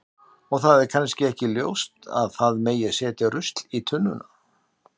og það er kannski ekki ljóst að það megi setja rusl í tunnuna